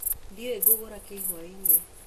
Ndiũĩ ngũruga kĩĩ hwaĩ-inĩ.